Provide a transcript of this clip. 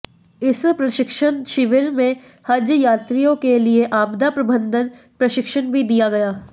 इस प्रशिक्षण शिविर में हज यात्रियों के लिए आपदा प्रबंधन प्रशिक्षण भी दिया गया